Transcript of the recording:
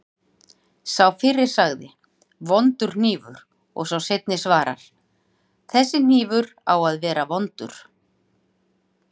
Sá fyrri segir: Vondur hnífur og sá seinni svarar: Þessi hnífur á að vera vondur